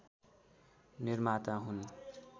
निर्माता हुन्